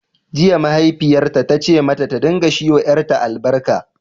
Jiya, mahaifiyarta ta ce mata ta dinga shi wa yaranta albarka